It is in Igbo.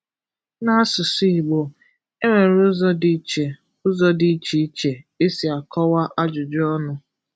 N’asụsụ Igbo, e nwere ụzọ dị iche ụzọ dị iche iche e si akọwa ajụjụ ọnụ.